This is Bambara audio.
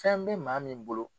Fɛn bɛ maa min bolo.